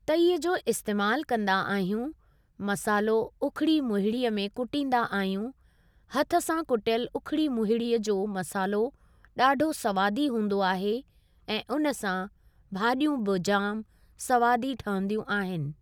तईअ जो इस्तेमालु कंदा आहियूं मसालो उखरी मुहिड़ीअ में कुटींदा आहियूं हथु सां कुटियलु उखरी मुहिड़ीअ जो मसालो ॾाढो सवादी हुंदो आहे ऐं उन सां भाॼियूं बि जाम सवादी ठहंदियूं आहिनि।